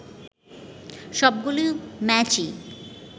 সবগুলো ম্যাচই